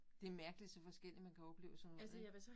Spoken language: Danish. Det mærkeligt så forskelligt man kan opleve sådan noget ik